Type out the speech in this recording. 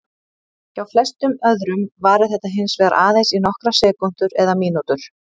Hjá flestum öðrum varir þetta hins vegar aðeins í nokkrar sekúndur eða mínútur.